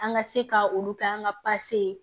An ka se ka olu kɛ an ka ye